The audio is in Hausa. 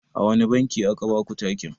A wane banki a ka baku takin?